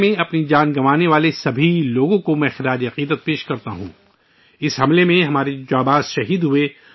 میں ، ان تمام لوگوں کو خراج عقیدت پیش کرتا ہوں ، جنہوں نے ممبئی حملے میں اپنی جانیں گنوائیں